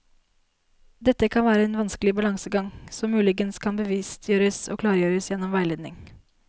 Dette kan være en vanskelig balansegang, som muligens kan bevisstgjøres og klargjøres gjennom veiledning.